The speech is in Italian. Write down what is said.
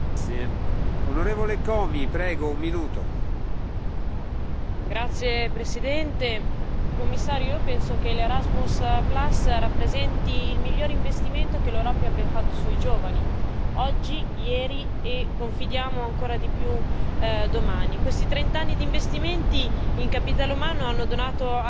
Signor Presidente, onorevoli colleghi, signor Commissario, io penso che Erasmus rappresenti il miglior investimento che l'Europa abbia fatto sui giovani oggi, ieri e, confidiamo, ancora di più domani. Questi trent'anni di investimenti in capitale umano hanno donato all'Europa una generazione